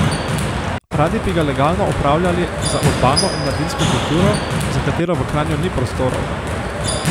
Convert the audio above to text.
Radi bi ga legalno upravljali za urbano in mladinsko kulturo, za katero v Kranju ni prostorov.